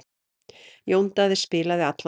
Jón Daði spilaði allan tímann.